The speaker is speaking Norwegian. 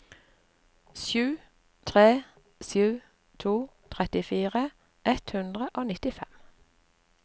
sju tre sju to trettifire ett hundre og nittifem